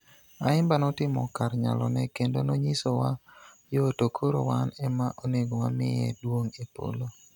Ayimba notimo kar nyalone kendo nonyisowa yo to koro wan ema onego wamiye duong' e polo.